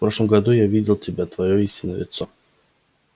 в прошлом году я видел тебя твоё истинное лицо